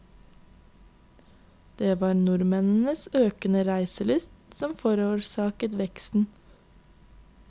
Det var nordmennenes økede reiselyst som forårsaket veksten.